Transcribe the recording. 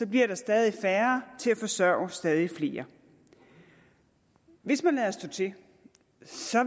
bliver der stadig færre til at forsørge stadig flere hvis man lader stå til